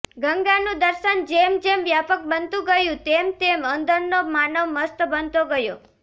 ગંગાનું દર્શન જેમ જેમ વ્યાપક બનતું ગયું તેમ તેમ અંદરનો માનવ મસ્ત બનતો ગયો